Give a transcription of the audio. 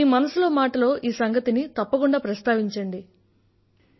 మీరు మీ మనసులో మాట లో ఈ సంగతిని తప్పకుండా ప్రస్తావించండి